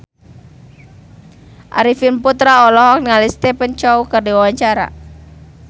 Arifin Putra olohok ningali Stephen Chow keur diwawancara